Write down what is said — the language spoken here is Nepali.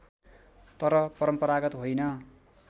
तर परम्परागत होइन